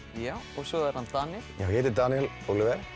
og svo er hann Daníel ég heiti Daníel Óliver